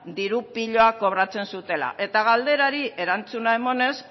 diru pilo bat kobratzen zutela eta galderari erantzuna emanez